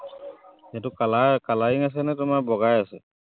সেইটো colour, colouring আছেনে তোমাৰ বগাই আছে?